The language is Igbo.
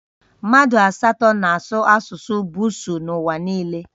Mmadụ asatọ na-asụ asụsụ Busuu n'ụwa niile